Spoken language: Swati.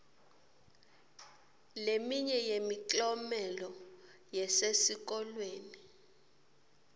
leminye yemiklomelo yesesikolweni